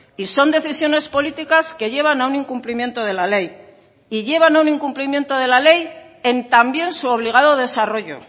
y son decisiones políticas que llevan a un incumplimiento de la ley y llevan a un incumplimiento de la ley en también su obligado desarrollo